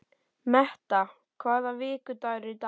Metta, hvaða vikudagur er í dag?